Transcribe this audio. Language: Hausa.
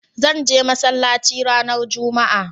Zan je masallaci ranar jumma'a